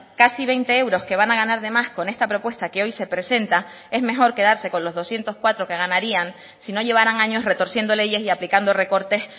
casi veinte euros que van a ganar de más con esta propuesta que hoy se presenta es mejor quedarse con los doscientos cuatro que ganarían si no llevaran años retorciendo leyes y aplicando recortes